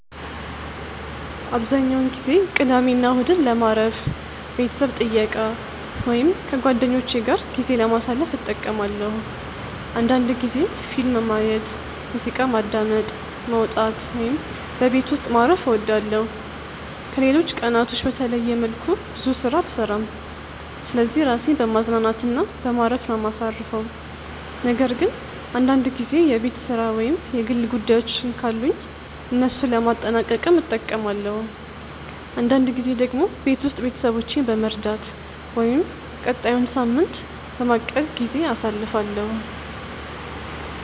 አብዛኛውን ጊዜ ቅዳሜና እሁድን ለማረፍ፣ ቤተሰብ ጥየቃ ወይም ከጓደኞቼ ጋር ጊዜ ለማሳለፍ እጠቀማለሁ አንዳንድ ጊዜም ፊልም ማየት፣ ሙዚቃ ማዳመጥ፣ መውጣት ወይም በቤት ውስጥ ማረፍ እወዳለሁ። ከሌሎች ቀናቶች በተለየ መልኩ ብዙ ስራ አልሰራም ስለዚህ ራሴን በማዝናናት እና በማረፍ ነው ማሳርፈው ነገር ግን አንዳንድ ጊዜ የቤት ስራ ወይም የግል ጉዳዮችን ካሉኝ እነሱን ለማጠናቀቅም እጠቀማለሁ። አንዳንድ ጊዜ ደግሞ ቤት ውስጥ ቤተሰቦቼን በመርዳት ወይም ቀጣዩን ሳምንት በማቀድ ጊዜ አሳልፋለሁ።